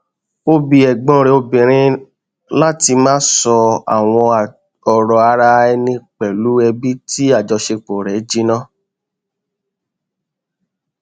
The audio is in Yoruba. ó bi ẹgbọn rẹ obìnrin láti má sọ àwọn ọrọ ara ẹni pẹlú ẹbí tí àjọṣepọ rẹ jìnnà